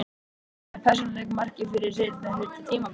Er hann með persónuleg markmið fyrir seinni hluta tímabilsins?